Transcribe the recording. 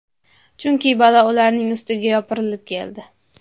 Chunki balo ularning ustiga yopirilib keldi.